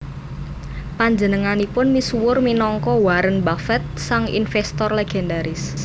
Panjenenganipun misuwur minangka Warren Buffett sang investor legendaris